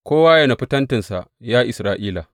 Kowa yă nufi tentinsa, ya Isra’ila!